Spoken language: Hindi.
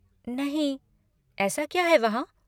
नहीं, ऐसा क्या है वहाँ?